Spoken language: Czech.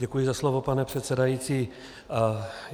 Děkuji za slovo, pane předsedající.